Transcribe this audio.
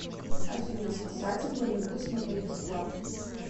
афина спасатель малибу смотреть бесплатно